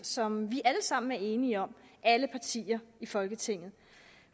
som vi alle sammen er enige om alle partier i folketinget